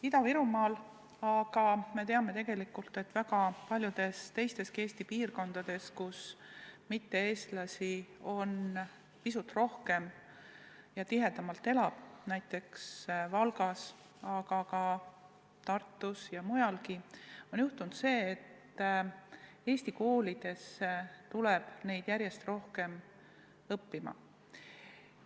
Ida-Virumaal, aga me teame tegelikult, et väga paljudes teisteski Eesti piirkondades, kus mitte-eestlasi elab pisut rohkem, näiteks Valgas, aga ka Tartus ja mujalgi, on juhtunud see, et eesti koolidesse tuleb neid lapsi järjest enam õppima.